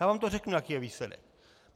Já vám to řeknu, jaký je výsledek.